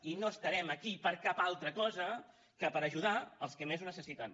i no estarem aquí per cap altra cosa que per ajudar els que més ho necessiten